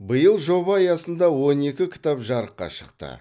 биыл жоба аясында он екі кітап жарыққа шықты